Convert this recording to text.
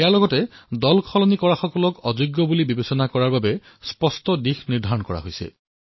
ইয়াৰ সৈতে দলসলনি কৰাসকলক অযোগ্য বুলি বিবেচনা কৰিবলৈ স্পষ্ট দিশনিৰ্দেশো নিৰ্ধাৰিত কৰা হল